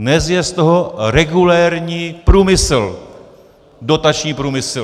Dnes je z toho regulérní průmysl, dotační průmysl.